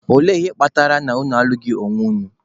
Ole ihe kpatara na unu alụghị onwe unu?